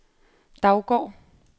Daugård